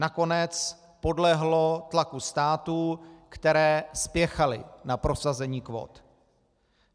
Nakonec podlehlo tlaku států, které spěchaly na prosazení kvót.